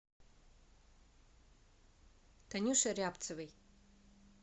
танюше рябцевой